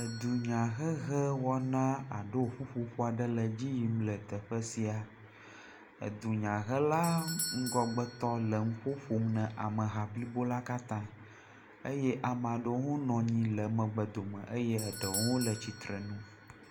Edunya hehe wɔna alo ƒuƒoƒo aɖe le dzi y